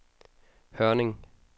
Hørning